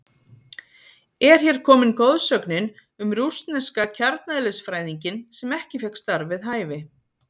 Er hér komin goðsögnin um rússneska kjarneðlisfræðinginn sem ekki fékk starf við hæfi?